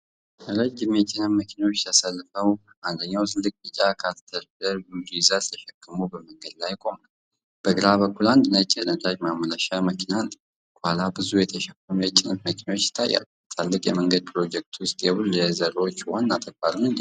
ረጅም የጭነት መኪኖች ተሰልፈው፣ አንደኛው ትልቅ ቢጫ ካተርፒላር ቡልዶዘር ተሸክሞ በመንገድ ላይ ቆመዋል። በግራ በኩል አንድ ነጭ የነዳጅ ማመላለሻ መኪና አለ። ከኋላ ብዙ የተሸፈኑ የጭነት መኪናዎች ይታያሉ፤ በትላልቅ የመንገድ ፕሮጀክቶች ውስጥ የቡልዶዘሮች ዋና ተግባር ምንድነው?